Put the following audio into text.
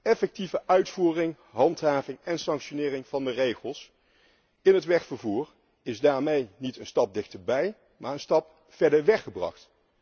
Effectieve uitvoering, handhaving en sanctionering van de regels in het wegvervoer is daarmee niet een stap dichterbij, maar een stap verder weg gebracht.